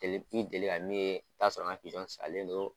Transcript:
Deli i bɛ deli ka min ye, i bɛ t'a sɔrɔ an ka pizɔn salen don